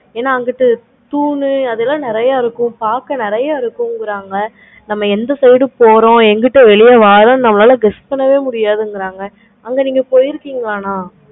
ஏன அங்குட்டு தூணு அதெல்லாம் நெறைய இருக்கும். பார்க்க நெறைய இருக்கும் கிறங்க. நம்ம என்ன side போறோம். இங்குட்டு வெளிய வரோம். நம்மளால guess பண்ணவே முடியாது. அங்க நீங்க போயிருக்கிங்களா madam